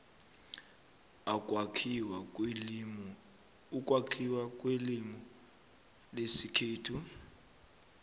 ukwakhiwa kwelimu lesikhethu